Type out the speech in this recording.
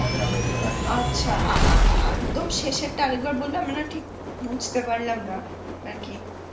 আচ্ছা অ্যাঁ অ্যাঁ অ্যাঁ একদম শেষেরটা আর একবার বলবেন আমি না ঠিক বুঝতে পারলাম না অ্যাঁ ঠিক